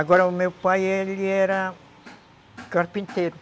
Agora, o meu pai, ele era carpinteiro.